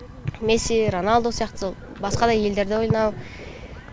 месси роналду сияқты сол басқа да елдерде ойнау